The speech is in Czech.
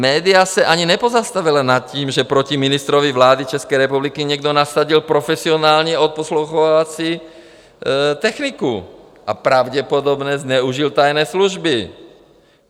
Média se ani nepozastavila nad tím, že proti ministrovi vlády České republiky někdo nasadil profesionální odposlouchávací techniku, a pravděpodobně zneužil tajné služby.